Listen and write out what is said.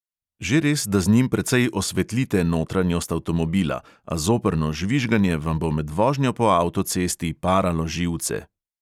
Že res, da z njim precej osvetlite notranjost avtomobila, a zoprno žvižganje vam bo med vožnjo po avtocesti paralo živce.